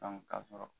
ka sɔrɔ